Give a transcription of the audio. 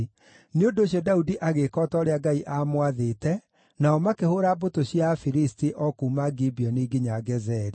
Nĩ ũndũ ũcio Daudi agĩĩka o ta ũrĩa Ngai aamwathĩte, nao makĩhũũra mbũtũ cia Afilisti, o kuuma Gibeoni nginya Gezeri.